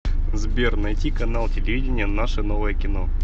сбер найти канал телевидения наше новое кино